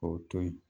K'o to yen